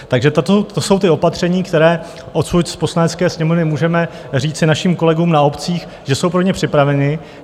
Takže to jsou ta opatření, která odsud z Poslanecké sněmovny můžeme říci našim kolegům na obcích, že jsou pro ně připravena.